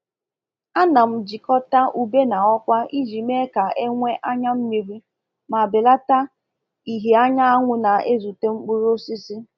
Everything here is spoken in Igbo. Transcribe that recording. A na m jikọta ube na ọkwa iji mee ka e nwee anya mmiri ma belata ìhè anyanwụ na-ezute mkpụrụ osisi.